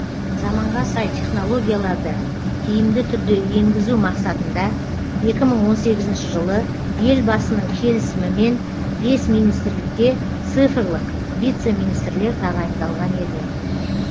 заманға сай технологияларды тиімді түрде енгізу мақсатында екі мың он сегізінші жылы елбасының келісімімен бес министрлікте цифрлық вице министрлер тағайындалған еді